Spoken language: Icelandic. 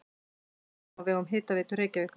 Reykjum á vegum Hitaveitu Reykjavíkur.